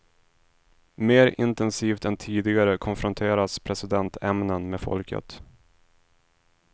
Mer intensivt än tidigare konfronteras presidentämnen med folket.